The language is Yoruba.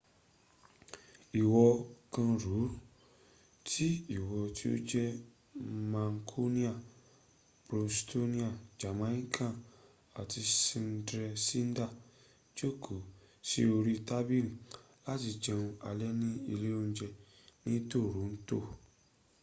ìwọ kàn rò ó tí ìwọ tí o jẹ́ mancunian bostonian jamaican àti sydneysider jókòó sí orí tábílì láti jẹun alẹ́ ni ilé ońjẹ ni toront